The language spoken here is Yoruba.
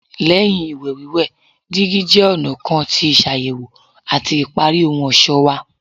Lẹhin iwẹwẹ, digi jẹ ọna kan ti ṣayẹwo ati ipari ohun ọṣọ wa